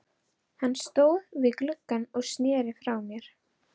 Hann stóð við gluggann og sneri frá mér.